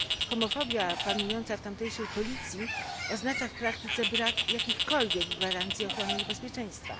Homofobia panująca w tamtejszej policji oznacza w praktyce brak jakichkolwiek gwarancji ochrony i bezpieczeństwa.